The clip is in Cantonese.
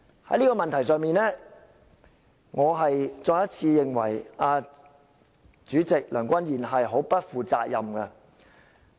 "在這個問題上，我再一次認為主席梁君彥很不負責任。